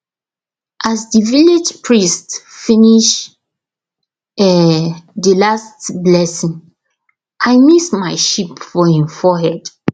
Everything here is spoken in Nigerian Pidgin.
as the village priest finish um the last blessing i miss my sheep for him forehead